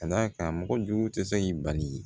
Ka d'a kan mɔgɔ jugu tɛ se k'i bali